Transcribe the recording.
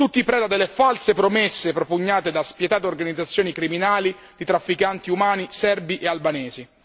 Tutti preda delle false promesse propugnate da spietate organizzazioni criminali di trafficanti umani serbi e albanesi.